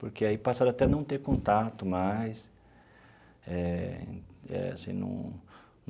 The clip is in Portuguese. Porque aí passaram até não ter contato mais eh eh assim num.